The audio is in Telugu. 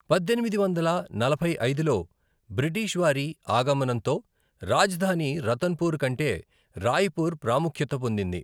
పద్దెనిమిది వందల నలభై ఐదులో బ్రిటిష్ వారి ఆగమనంతో రాజధాని రతన్పూర్ కంటే రాయ్పూర్ ప్రాముఖ్యత పొందింది.